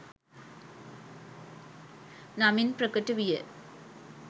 නමින් ප්‍රකට විය.